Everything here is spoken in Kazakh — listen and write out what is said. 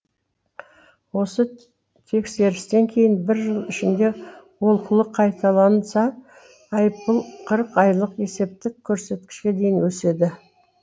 осы тексерістен кейін бір жыл ішінде олқылық қайталанса айыппұл қырық айлық есептік көрсеткішке дейін өседі